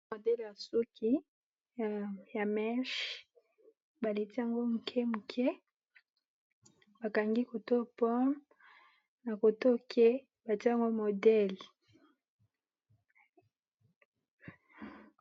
Modèle yasuku ya meshe baletiyango mukemuke bakangiyango poro nakotoyeke batiyango modèle